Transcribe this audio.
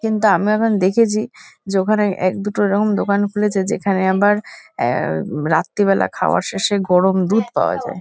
কিন্তু আমি এখন দেখেছি। যে ওখানে এক দুটো এরকম দোকান খুলেছে যেখানে আবার আ রাত্রিবেলা খাওয়ার শেষে গরম দুধ পাওয়া যায়।